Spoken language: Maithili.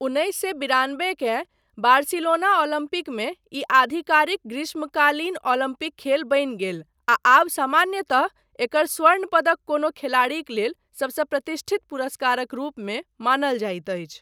उन्नैस सए बिरानबे के बार्सिलोना ओलम्पिकमे ई आधिकारिक ग्रीष्मकालीन ओलम्पिक खेल बनि गेल आ आब सामान्यतः एकर स्वर्ण पदक कोनो खेलाड़ीक लेल सबसँ प्रतिष्ठित पुरस्कारक रूपमे मानल जाइत अछि।